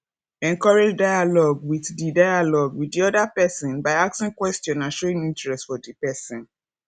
encourage dialogue with di dialogue with di oda person by asking question and showing interest for di person